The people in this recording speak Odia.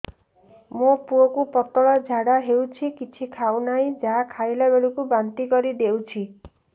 ମୋ ପୁଅ କୁ ପତଳା ଝାଡ଼ା ହେଉଛି କିଛି ଖାଉ ନାହିଁ ଯାହା ଖାଇଲାବେଳକୁ ବାନ୍ତି କରି ଦେଉଛି